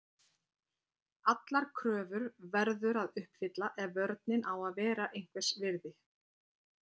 Allar kröfur verður að uppfylla ef vörnin á að vera einhvers virði.